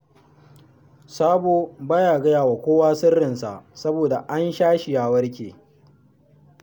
Sabo ba ya gaya wa kowa sirrinsa, saboda an sha shi, ya warke